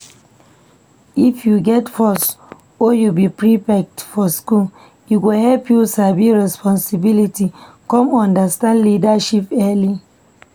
If u get post or u be prefect for school, e go help you sabi responsibility come understand leadership early